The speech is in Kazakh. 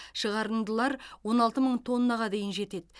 шығарындылар он алты мың тоннаға дейін жетеді